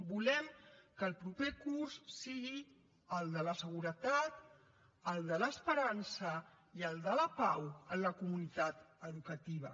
volem que el proper curs sigui el de la seguretat el de l’esperança i el de la pau en la comunitat educativa